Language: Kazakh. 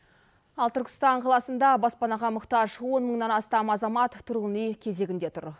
ал түркістан қаласында баспанаға мұқтаж он мыңнан астам азамат тұрғын үй кезегінде тұр